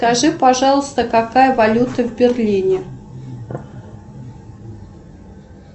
скажи пожалуйста какая валюта в берлине